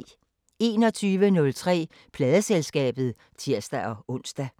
21:03: Pladeselskabet (tir-ons)